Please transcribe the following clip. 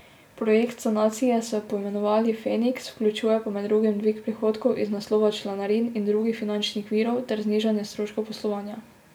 Projekt sanacije so poimenovali Feniks, vključuje pa med drugim dvig prihodkov iz naslova članarin in drugih finančnih virov ter znižanje stroškov poslovanja.